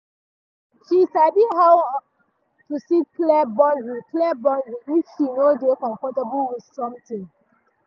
she sabi how to set clear boundary clear boundary if she no dey comfortable with something.